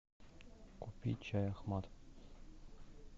купи чай ахмад